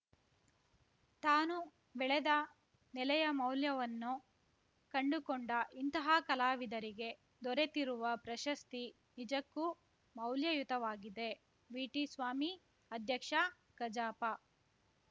ತಾನು ಬೆಳೆದ ನೆಲೆಯ ಮೌಲ್ಯವನ್ನು ಕಂಡುಕೊಂಡ ಇಂತಹ ಕಲಾವಿದರಿಗೆ ದೊರೆತಿರುವ ಪ್ರಶಸ್ತಿ ನಿಜಕ್ಕೂ ಮೌಲ್ಯಯುತವಾಗಿದೆ ವಿಟಿ ಸ್ವಾಮಿ ಅಧ್ಯಕ್ಷ ಕಜಾಪ